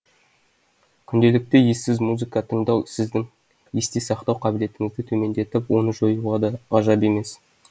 күнделікті ессіз музыка тыңдау сіздің есте сақтау қабілетіңізді төмендетіп оны жоюы да ғажап емес